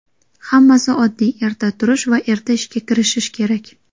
Hammasi oddiy erta turish va erta ishga kirishish kerak.